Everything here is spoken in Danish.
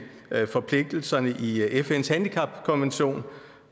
forpligtelserne i fns handicapkonvention